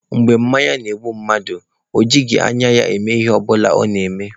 Mgbe mmanya na-egbu mmadụ, o jighị anya ya eme Ihe ọbụla ọ na-eme.